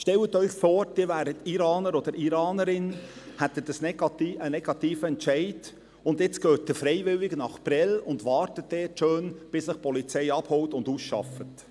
Stellen Sie sich vor, Sie wären Iraner oder Iranerin, hätten einen negativen Entscheid, und jetzt gehen Sie freiwillig nach Prêles und warten dort schön, bis die Polizei Sie abholt und ausschafft.